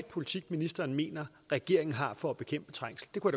politik ministeren mener regeringen har for at bekæmpe trængsel det kunne